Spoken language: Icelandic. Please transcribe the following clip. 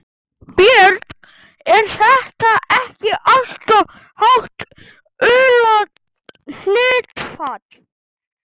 Björn: Er það ekki alltof hátt hlutfall?